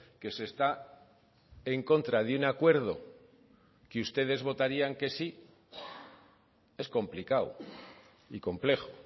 que se está en contra de un acuerdo que ustedes votarían que sí es complicado y complejo